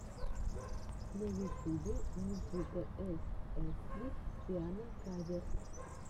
на ютюбе никитаэсэксби пиано каверс